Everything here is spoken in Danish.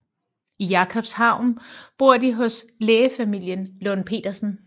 I Jakobshavn bor de hos lægefamilien Lund Petersen